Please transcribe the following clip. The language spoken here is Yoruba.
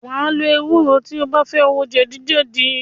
Wàá lo ewúro tí o bá fẹ́ wo jẹ̀dí jẹ̀dí